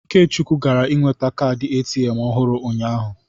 Ikechukwu gara nweta kaadị ATM ọhụrụ ụnyahụ.